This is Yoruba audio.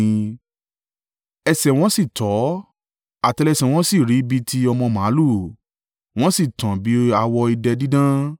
Ẹsẹ̀ wọn sì tọ́; àtẹ́lẹsẹ̀ wọn sì rí bí ti ọmọ màlúù, wọ́n sì tàn bí awọ idẹ dídán.